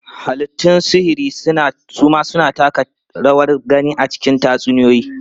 Halittun sihiri su ma suna taka rawar gani a cikin tatsuniyoyi.